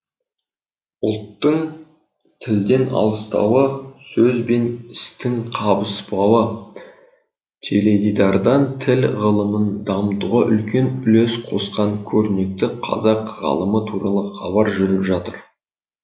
ұлттын тілден алыстауы сөз бен істін қабыспауы теледидардан тіл ғылымын дамытуға үлкен үлес қосқан көрнекті қазақ ғалымы туралы хабар жүріп жатыр